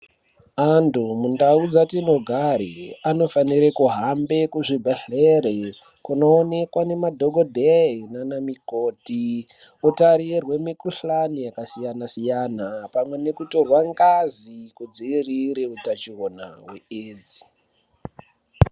Antu mundau dzatinogare fanire kuhambe kuzvibhedhlere kunoonekwa nemadhokodhee nanamikhoti otarirwe mikuhlani yakasiyana siyana pamwe nekutorwa ngazi kudzivirire utachiona hwee edzi.